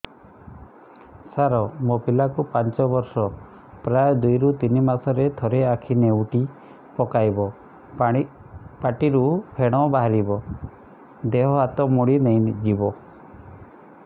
ସାର ମୋ ପିଲା କୁ ପାଞ୍ଚ ବର୍ଷ ପ୍ରାୟ ଦୁଇରୁ ତିନି ମାସ ରେ ଥରେ ଆଖି ନେଉଟି ପକାଇବ ପାଟିରୁ ଫେଣ ବାହାରିବ ଦେହ ହାତ ମୋଡି ନେଇଯିବ